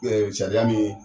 sariya min